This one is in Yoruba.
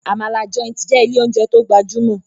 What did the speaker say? Amala Joint jé ilé oúnjẹ tó gbajumo.